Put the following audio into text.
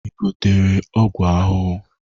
Ị gotere ọgwụ ahụhụ?